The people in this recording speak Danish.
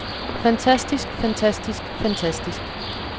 fantastisk fantastisk fantastisk